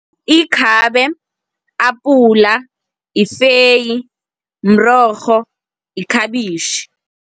Ikhabe, apula, ifeyi, mrorho, yikhabitjhi.